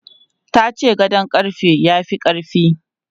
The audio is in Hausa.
Ta ce gadon ƙarfe ya fi ƙarfi.